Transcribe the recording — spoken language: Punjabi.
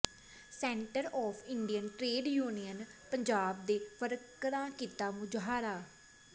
centre of Indian trade union Punjab ਦੇ ਵਰਕਰਾਂ ਕੀਤਾ ਮੁਜ਼ਾਹਰਾ